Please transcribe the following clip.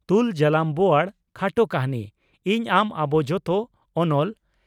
"ᱛᱩᱞ ᱡᱟᱞᱟᱢ ᱵᱚᱣᱟᱲ" (ᱠᱷᱟᱴᱚ ᱠᱟᱹᱦᱱᱤ)ᱤᱧ ᱟᱢ ᱟᱵᱚ ᱡᱚᱛᱚ (ᱚᱱᱚᱞ)